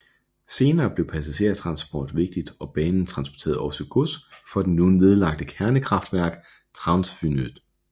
Senere blev passagertransport vigtigt og banen transporterede også gods for det nu nedlagte kernekraftværk Trawsfynydd